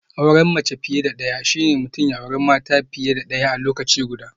Auren mace fiye da daya shine mutum ya auri mata fiye da daya a lokaci guda